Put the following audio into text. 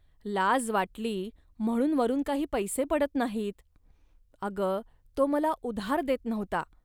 लाज वाटली, म्हणून वरून काही पैसे पडत नाहीत. अग, तो मला उधार देत नव्हता